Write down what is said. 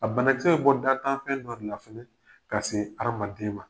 A banakicɛ bi bɔ dan tan fɛn dɔ de la fɔlɔ ka se adamaden ma.